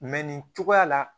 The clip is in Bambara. Mɛ nin cogoya la